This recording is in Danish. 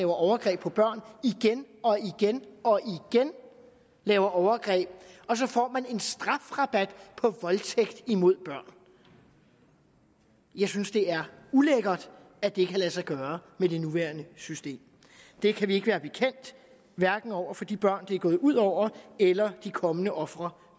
overgreb på børn igen og igen laver overgreb og så får en strafrabat på voldtægt mod børn jeg synes det er ulækkert at det kan lade sig gøre med det nuværende system det kan vi ikke være bekendt hverken over for de børn det er gået ud over eller de kommende ofre